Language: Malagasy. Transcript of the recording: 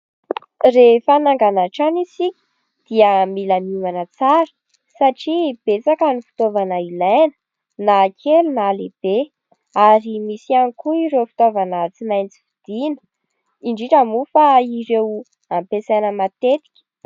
Rehefa hanangana trano isika dia mila miomana tsara satria betsaka ny fitaovana ilaina na kely na lehibe ary misy ihany koa ireo fitaovana tsy maintsy vidiana, indrindra moa fa ireo ampiasaina matetika.